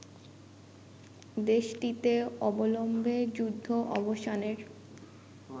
দেশটিতে অবিলম্বে যুদ্ধ অবসানের